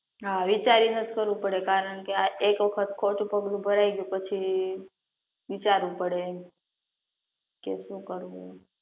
હા વિચારીનેજ કરવું પડે કારણ કે એકે વખત ખોટું પગલું ભરાઈ ગયું પછી વિચારવું પડે એમ